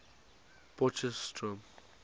potchefstroom